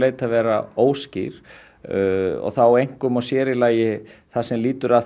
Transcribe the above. að vera óskýr einkum og í sér í lagi það sem lýtur að